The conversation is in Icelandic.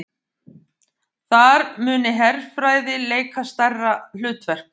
Þar muni herfræði leika stærra hlutverk